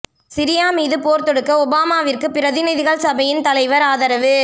Syria மீது போர் தொடுக்க ஒபாமாவிற்கு பிரதிநிதிகள் சபையின் தலைவர் ஆதரவு